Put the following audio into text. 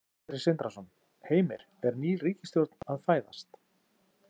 Sindri Sindrason: Heimir, er ný ríkisstjórn að fæðast?